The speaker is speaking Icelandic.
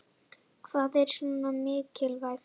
Hvað er svona mikilvægt